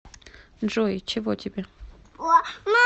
джой чего тебе